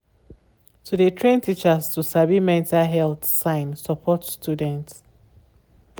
to de train teachers to sabi mental health sign support students.